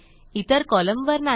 इतर कॉलमवर नाही